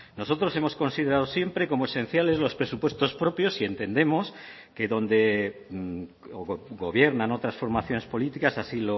nosotros hemos considerado siempre como esenciales los presupuestos propios y entendemos que donde gobiernan otras formaciones políticas así